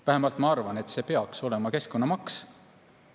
Vähemalt ma arvan, et see peaks olema keskkonnamaks.